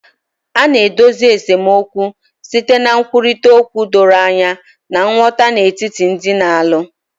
Ị na-edozi esemokwu site na nkwurịta okwu doro anya na nghọta n'etiti ndị na-alụ